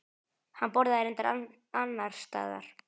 Hann borðaði reyndar annars staðar.